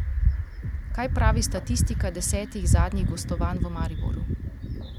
Kaj pravi statistika desetih zadnjih gostovanj v Mariboru?